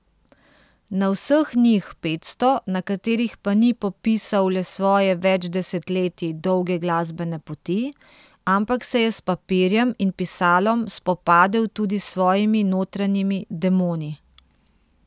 Na vseh njih petsto, na katerih pa ni popisal le svoje več desetletij dolge glasbene poti, ampak se je s papirjem in pisalom spopadel tudi s svojimi notranjimi demoni.